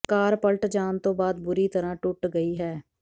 ਕਾਰ ਪਲਟ ਜਾਣ ਤੋਂ ਬਾਅਦ ਬੁਰੀ ਤਰ੍ਹਾਂ ਟੁੱਟ ਗਈ ਹੈ